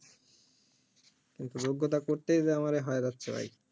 একটু যোগ্যতা করতেই যে আমারে হয়রাস্ত হই